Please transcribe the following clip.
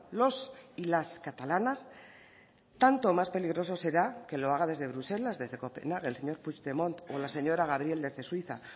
los y las catalanas tanto más peligroso será que lo haga desde bruselas desde copenhague el señor puigdemont o la señora gabriel desde suiza